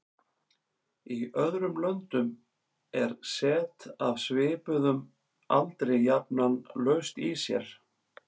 Í öðrum löndum er set af svipuðum aldri jafnan laust í sér.